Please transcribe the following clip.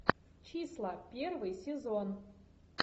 числа первый сезон